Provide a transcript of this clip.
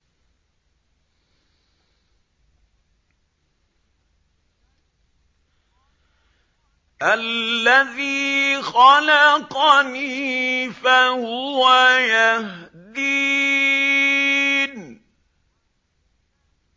الَّذِي خَلَقَنِي فَهُوَ يَهْدِينِ